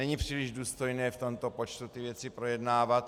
Není příliš důstojné v tomto počtu ty věci projednávat.